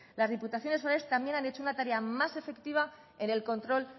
las diputaciones forales también han hecho una tarea más efectiva en el control